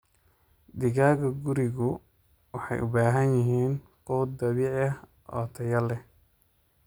Digaagga gurigu waxay u baahan yihiin quud dabiici ah oo tayo leh.